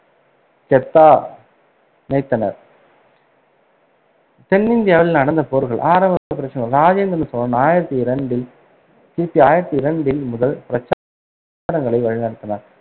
கெத்தா இணைத்தனர் தென்னிந்தியாவில் நடந்த போர்கள் ஆரம்ப ராஜேந்திர சோழன் ஆயிரத்தி இரண்டில் கி பி ஆயிரத்தி இரண்டில் முதல் பிரச்சாரங்களை வழிநடத்தினார்.